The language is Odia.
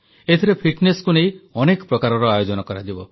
ଏଥିରେ ଫିଟନେସକୁ ନେଇ ଅନେକ ପ୍ରକାରର ଆୟୋଜନ କରାଯିବ